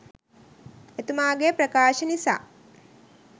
එතුමාගේ ප්‍රකාශ නිසා